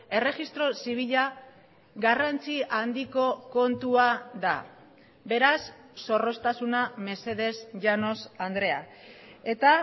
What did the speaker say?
erregistro zibila garrantzi handiko kontua da beraz zorroztasuna mesedez llanos andrea eta